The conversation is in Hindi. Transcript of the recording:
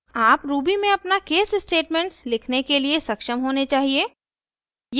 आप ruby में अपना casestatements लिखने के लिए सक्षम होने चाहिए